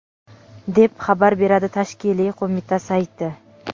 deb xabar beradi tashkiliy qo‘mita sayti.